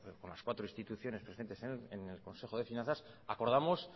con las cuatro instituciones presentes en el consejo de finanza acordamos